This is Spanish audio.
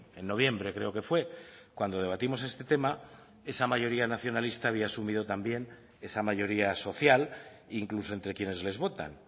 en noviembre creo que fue cuando debatimos este tema esa mayoría nacionalista había asumido también esa mayoría social incluso entre quienes les votan